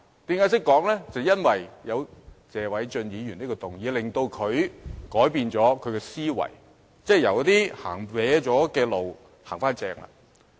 便是因為謝偉俊議員提出這項議案，改變了他的思維，即從歪路走向正路。